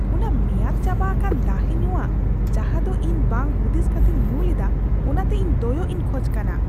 ᱚᱱᱟ ᱢᱮᱭᱟᱫ ᱪᱟᱵᱟ ᱟᱠᱟᱱ ᱫᱟᱦᱮ ᱧᱩᱣᱟᱜ ᱡᱟᱦᱟᱸᱫᱚ ᱤᱧ ᱵᱟᱝ ᱦᱩᱫᱤᱥ ᱠᱟᱛᱤᱧ ᱧᱩ ᱞᱮᱫᱟ ᱚᱱᱟᱛᱮ ᱤᱧ ᱫᱚᱭᱚᱜ ᱤᱧ ᱠᱷᱚᱡ ᱠᱟᱱᱟ ᱾